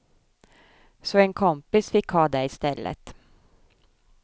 Så en kompis fick ha det i stället.